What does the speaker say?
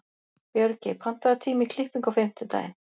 Björgey, pantaðu tíma í klippingu á fimmtudaginn.